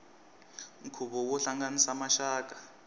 nkhuvo wo hlanganisa maxaka